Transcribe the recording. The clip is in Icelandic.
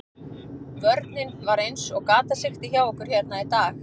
Vörnin var eins og gatasigti hjá okkur hérna í dag.